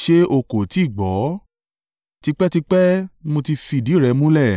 “Ṣé o kò tí ì gbọ́? Tipẹ́tipẹ́ ni mo ti fìdí rẹ̀ mulẹ̀.